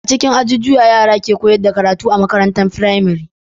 A cikin ajujuwa yara suke koyar da karatu a makarantar firamare